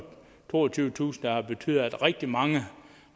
toogtyvetusind har betydet at rigtig mange